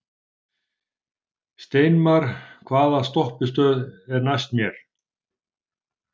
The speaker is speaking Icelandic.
Steinmar, hvaða stoppistöð er næst mér?